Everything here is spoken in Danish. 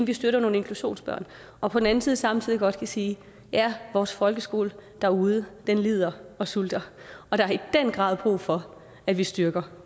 vi støtter nogle inklusionsbørn og på den anden side samtidig godt kan sige at ja vores folkeskole derude lider og sulter og der er i den grad brug for at vi styrker